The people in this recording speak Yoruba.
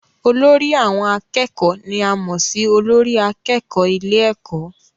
Olórí àwọn akẹ́kọ̀ọ́ ni a mọ̀ sí olórí akẹ́kọ̀ọ́ ilé ẹ̀kọ́